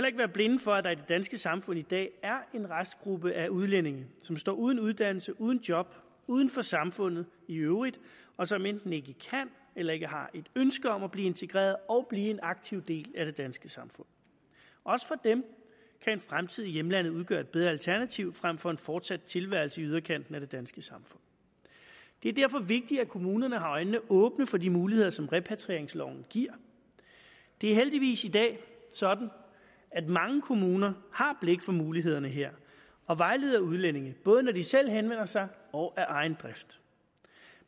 ikke være blinde for at der i det danske samfund i dag er en restgruppe af udlændinge som står uden uddannelse uden job uden for samfundet i øvrigt og som enten ikke kan eller ikke har et ønske om at blive integreret og blive en aktiv del af det danske samfund også for dem kan en fremtid i hjemlandet udgøre et bedre alternativ frem for en fortsat tilværelse i yderkanten af det danske samfund det er derfor vigtigt at kommunerne har øjnene åbne for de muligheder som repatrieringsloven giver det er heldigvis i dag sådan at mange kommuner har blik for mulighederne her og vejleder udlændinge både når de selv henvender sig og af egen drift